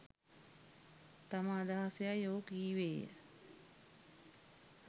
තම අදහස යැයි ඔහු කීවේය